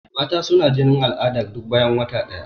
Mata suna jinin al'ada duk bayan wata ɗaya.